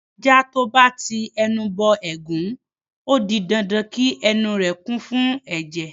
Ajá tó bá ti ẹnu bọ ẹ̀gún, ó di dandan kí ẹnu rẹ̀ kún fún ẹ̀jẹ̀.